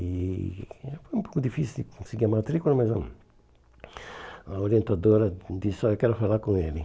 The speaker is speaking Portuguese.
E foi um pouco difícil de conseguir a matrícula, mas a a orientadora disse, olha, eu quero falar com ele.